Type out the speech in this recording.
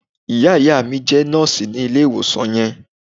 Ìyá- ìyá mi jé Nóòsì ní ilè ìwòsàn yẹn